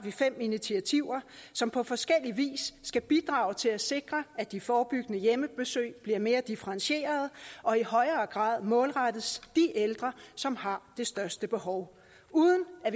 fem initiativer som på forskellig vis skal bidrage til at sikre at de forebyggende hjemmebesøg bliver mere differentierede og i højere grad målrettes de ældre som har det største behov uden at